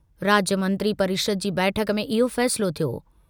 राज्य मंत्री परिषद जी बैठक में इहो फ़ैसिलो थियो।